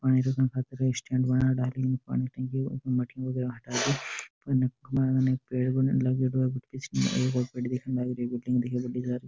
पानी डालन खातिर एक स्टैंड बना दलिया पानी टंकी का ढक्कन हटाकर पीछे पेड़ लगेडो है रही है।